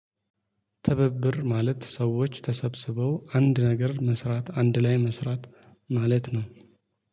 ትብብር ማለት ሰዎች ተሰብስበው አንድ ነገር መስራት አንድ ላይ መስራት ማለት ነው